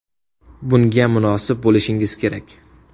Bunga munosib bo‘lishingiz kerak.